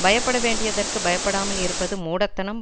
பயப்பட வேண்டியதற்குப் பயப்படாமல் இருப்பது மூடத்தனம்